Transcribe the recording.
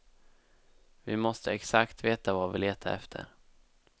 Vi måste exakt veta vad vi letar efter.